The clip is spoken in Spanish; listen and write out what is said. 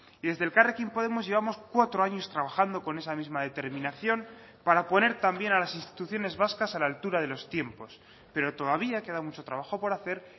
y desde elkarrekin podemos llevamos cuatro años trabajando con esa misma determinación para poner también a las instituciones vascas a la altura de los tiempos pero todavía queda mucho trabajo por hacer